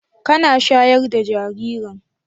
Kana shayar da jaririn?